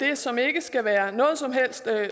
det som ikke skal være noget som helst